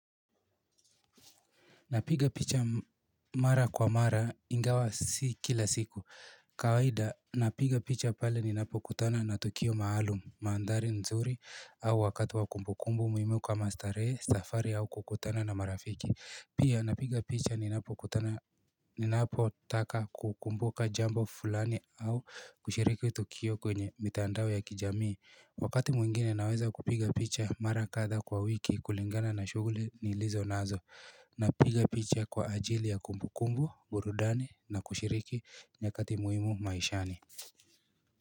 Napiga picha mara kwa mara ingawa si kila siku kawaida napiga picha pale ninapo kutana na tukio maalum maandari nzuri au wakati wakumbukumbu muhimu kwa maastaree, safari au kukutana na marafiki Pia napiga picha ninapokutana ninapo taka kukumbuka jambo fulani au kushiriki tukio kwenye mitandao ya kijamii Wakati mwingine naweza kupiga picha mara kada kwa wiki kulingana na shuguli nilizo nazo Napiga picha kwa ajili ya kumbukumbu burudani na kushiriki nyakati muhimu maishani.